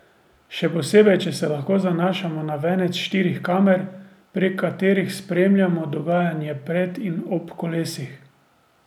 Še posebej, če se lahko zanašamo na venec štirih kamer, prek katerih spremljamo dogajanje pred in ob kolesih.